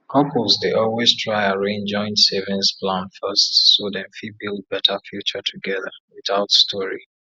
couples dey always try arrange joint savings plan first so dem fit build better future together without story